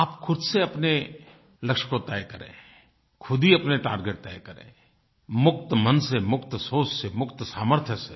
आप खुद से अपने लक्ष्य को तय करें खुद ही अपने टार्गेट तय करें मुक्त मन से मुक्त सोच से मुक्त सामर्थ्य से